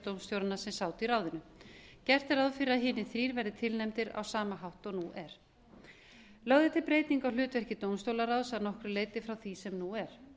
dómstjóranna sem sátu í ráðinu gert er ráð fyrir að hinir þrír verði tilnefndir á sama hátt og nú er lögð er til breyting á hlutverki dómstólaráðs að nokkru leyti frá því sem nú er